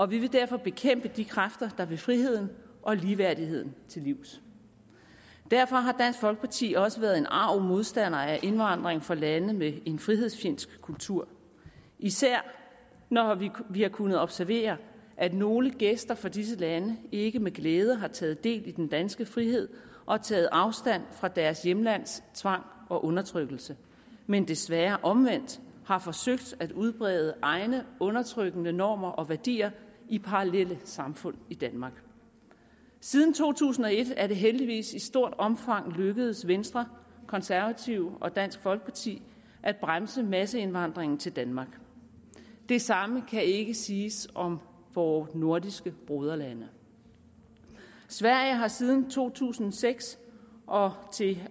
vi vil derfor bekæmpe de kræfter der vil friheden og ligeværdigheden til livs derfor har dansk folkeparti også været en arg modstander af indvandring fra lande med en frihedsfjendsk kultur især når vi har kunnet observere at nogle gæster fra disse lande ikke med glæde har taget del i den danske frihed og taget afstand fra deres hjemlands tvang og undertrykkelse men desværre omvendt har forsøgt at udbrede egne undertrykkende normer og værdier i parallelle samfund i danmark siden to tusind og et er det heldigvis i stort omfang lykkedes venstre konservative og dansk folkeparti at bremse masseindvandringen til danmark det samme kan ikke siges om vores nordiske broderlande sverige har siden to tusind og seks og til